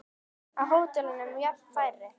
Á hótelum jafnvel færri.